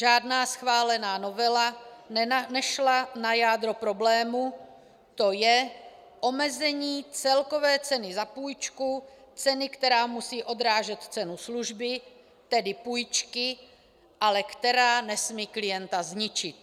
Žádná schválená novela nešla na jádro problému, to je omezení celkové ceny za půjčku, ceny, která musí obrážet cenu služby, tedy půjčky, ale která nesmí klienta zničit.